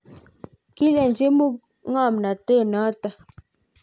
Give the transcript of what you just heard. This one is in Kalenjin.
kiileni mu ku ng'omnote noto